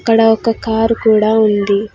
అక్కడ ఒక కారు కూడా ఉంది.